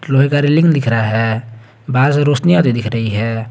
लोहे का रेलिंग दिख रहा है बाहर से रौशनी आते दिख रही है।